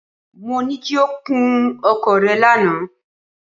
Mo ní kí o kun ọkọ̀ rẹ lánàá.